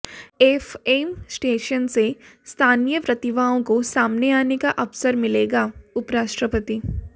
FM station से स्थानीय प्रतिभाओं को सामने आने का अवसर मिलेगाः उपराष्ट्रपति